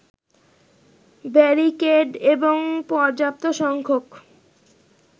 barricade এবং পর্যাপ্ত সংখ্যক